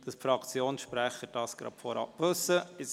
So wissen es die Fraktionssprecher gleich von vornherein.